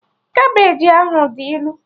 Kabeji ahụ dị ilu